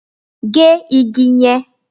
Gé igi yẹn!